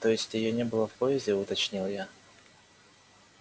то есть её не было в поезде уточнил я